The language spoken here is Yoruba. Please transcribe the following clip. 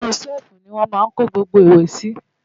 inú ṣẹ́ẹ̀fù ni wọ́n máa ń kó gbogbo ìwé sí